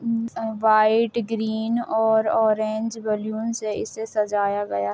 ये white green और orange balloon से इसे सजाया गया ।